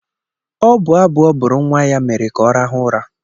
Ọ bụ abụ ọ bụrụ nwa ya mere ka ọ rahụ ụra